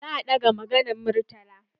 Za a ɗaga maganan Murtala.